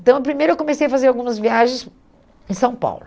Então, primeiro eu comecei a fazer algumas viagens em São Paulo.